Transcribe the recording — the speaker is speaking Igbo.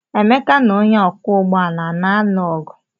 Emeka na onye ọkwọ ụgbọala a na-alụ ọgụ?